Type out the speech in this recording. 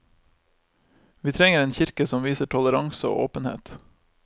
Vi trenger en kirke som viser toleranse og åpenhet.